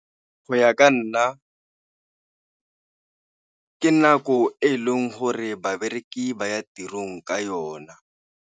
Go ya ka nna ka nako e e leng gore babereki ba ya tirong ka yona.